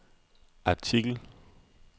artikel